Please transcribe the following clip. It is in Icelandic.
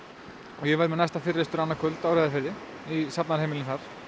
ég verð með næsta fyrirlestur annað kvöld á Reyðarfirði í safnaðarheimilinu